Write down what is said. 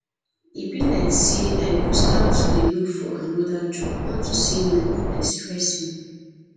e be like say i go start to dey look for another job unto say my work dey stress me